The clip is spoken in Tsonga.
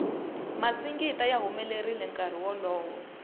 masingita ya humelerile nkarhi wolowo